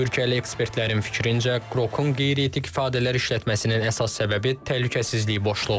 Türkiyəli ekspertlərin fikrincə, Qrokun qeyri-etik ifadələr işlətməsinin əsas səbəbi təhlükəsizlik boşluğudur.